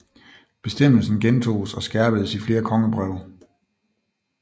Bestemmelsen gentoges og skærpedes i flere kongebreve